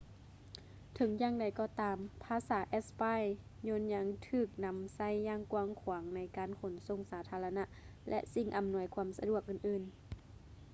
ເຖິງຢ່າງໃດກໍຕາມ ພາສາເເອສປາຍໂຍນຍັງຖືກນຳໃຊ້ຢ່າງກວ້າງຂວາງໃນການຂົນສົ່ງສາທາລະນະ ແລະ ສິ່ງອໍານວຍຄວາມສະດວກອື່ນໆ